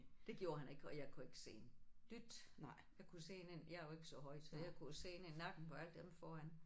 Det gjorde han ikke og jeg kunne ikke se en dyt. Jeg kunne se ind ind jeg er jo ikke så høj så jeg kunne jo se ind i nakken på alle den foran